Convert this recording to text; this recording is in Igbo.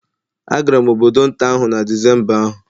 Agara m obodo nta ahụ na Disemba ahụ